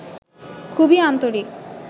খুবই আন্তরিক